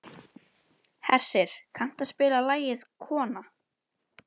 Hersir, kanntu að spila lagið „Kona“?